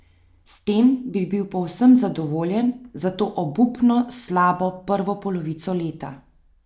S tem bi bil povsem zadovoljen za to obupno slabo prvo polovico leta.